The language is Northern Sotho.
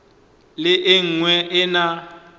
le e nngwe e na